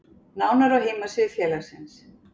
Nánar á heimasíðu félagsins